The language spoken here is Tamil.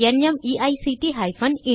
தமிழாக்கம் பிரியா